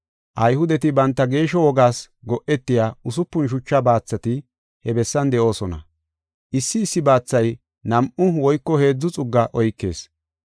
Ayhudeti banta geeshsho wogaas go7etiya usupun shucha baathati he bessan de7oosona. Issi issi baathay nam7u woyko heedzu xugga oykees.